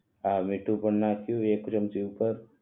હા મીઠું પણ નાખ્યું એક ચમચી ઉપર